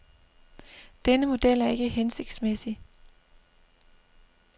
Denne model er ikke hensigtsmæssig.